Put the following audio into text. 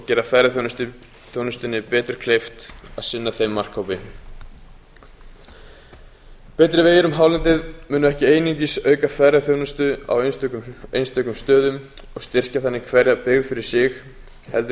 gera ferðaþjónustunni betur kleift að sinna þeim markhópi betri vegir um hálendið munu ekki einungis auka ferðaþjónustu á einstökum stöðum og styrkja þannig hverja byggð fyrir sig heldur